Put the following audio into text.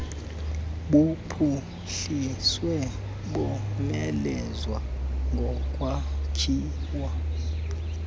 buphuhliswe bomelezwe ngokwakhiwa